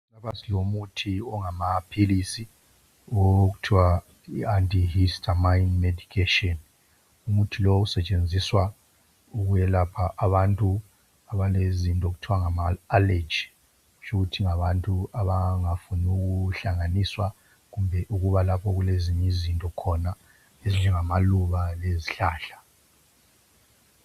Lapha silomuthi ongamaphilisi okuthi yi antihistamine medication umuthi lowu usetshenziswa ukwelapha abantu abalezinto okuthiwa ngama allergy kutshukuthi ngabantu abangafuni ukuhlanganiswa kumbe ukuba lapho okulezinye izinto khona ezinjengamaluba kumbe izihlahla.